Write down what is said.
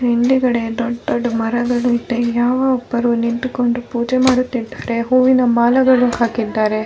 ಹಿಂದ್ಗಡೆ ದೊಡ್ಡ್ ದೊಡ್ಡ್ ಮರಗಳಿದೆ ಯಾರೋ ಒಬ್ಬರು ನಿಂತುಕೊಂಡು ಪೂಜೆ ಮಾಡುತ್ತಿದ್ದಾರೆ ಹೂವಿನ ಮಾಲೆಗಳು ಹಾಕಿದ್ದಾರೆ .